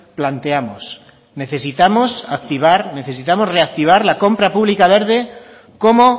planteamos necesitamos activar necesitamos reactivar la compra pública verde como